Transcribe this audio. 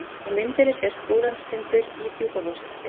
Á myndinni sést Búlandstindur í Djúpavogshreppi.